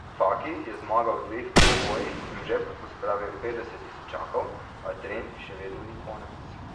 Faki je zmagal v dveh dvobojih in v žep pospravil petdeset tisočakov, a trenj še vedno ni konec.